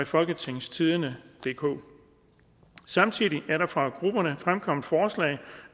folketingstidende DK samtidig er der fra grupperne fremkommet forslag